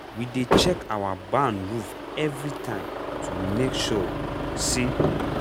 we dey check our barn roof every time to make sure sa